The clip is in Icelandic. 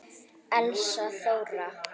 Elsa Þóra.